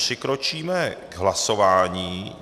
Přikročíme k hlasování.